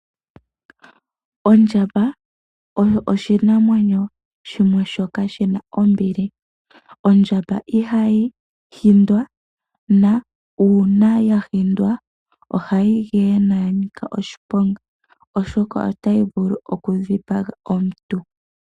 Ondjamba oyo oshinamwenyo shimwe shoka shina ombili. Ondjamba ihayi hindwa, nuuna yahindwa ohayi geye, noya nika oshiponga, oshoka otayi vulu okudhipaga omuntu.